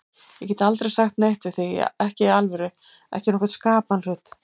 Ég gat aldrei sagt neitt við þig, ekki í alvöru, ekki nokkurn skapaðan hlut.